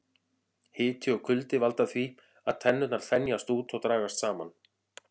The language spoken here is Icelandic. Hiti og kuldi valda því að tennurnar þenjast út og dragast saman.